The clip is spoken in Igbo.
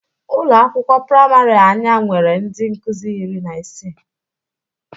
Ụlọ akwụkwọ prịmarị anya nwere ndị nkụzị iri na isii.